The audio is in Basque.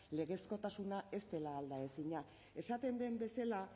legezkotasuna ez dela aldaezina esaten den bezala